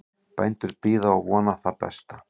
Bændur bíða og vona það besta